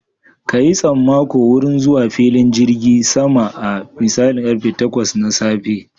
Ka yi tsammako wurin zuwa filin jirgin sama a misalin karfe takwas na safe